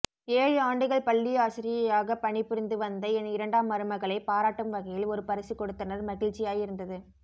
ஏழு ஆண்டுகள் பள்ளிஆசிரியையாகப் பணி புரிந்து வந்த என் இரண்டாம் மருமகளை பாராட்டும்வகையில் ஒரு பரிசுகொடுத்தனர் மகிழ்ச்சியாயிருந்தது